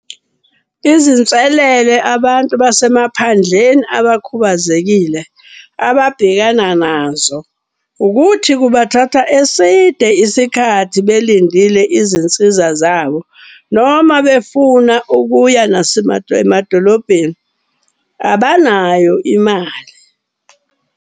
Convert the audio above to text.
Izinselele abantu basemaphandleni abakhubazekile ababhekana nazo. Ukuthi kubathatha eside isikhathi belindile izinsiza zabo noma befuna ukuya abanayo imali.